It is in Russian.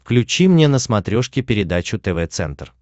включи мне на смотрешке передачу тв центр